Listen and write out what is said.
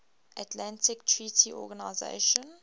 atlantic treaty organisation